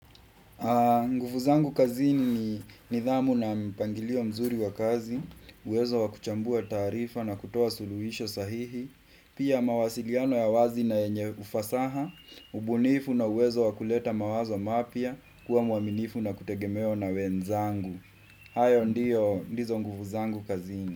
Nguvu zangu kazini ni nidhamu na mpangilio mzuri wa kazi, uwezo wa kuchambua taarifa na kutoa suluhisho sahihi, pia mawasiliano ya wazi na yenye ufasaha, ubunifu na uwezo wa kuleta mawazo mapya, kuwa mwaminifu na kutegemewa na wenzangu. Hayo ndio ndizo nguvu zangu kazini.